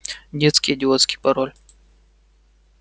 детский идиотский пароль